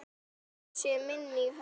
Blessuð sé minning Hollu.